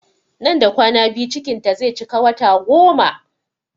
Nan da kwana biyu cikin ta zai cika wata goma